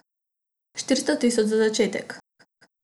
Štiristo tisoč za začetek.